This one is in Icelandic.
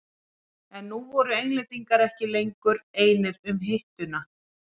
En nú voru Englendingar ekki lengur einir um hituna.